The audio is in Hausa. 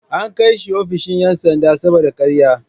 An kai shi ofishin ‘yan sanda saboda karya.